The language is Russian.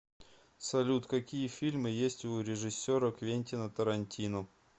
салют какие фильмы есть у режиссера квентина торантино